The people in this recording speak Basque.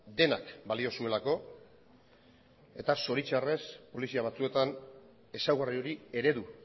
denak balio zuelako eta zoritzarrez polizia batzuetan ezaugarri hori eredu